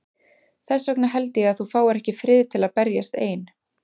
Þess vegna held ég að þú fáir ekki frið til að berjast ein.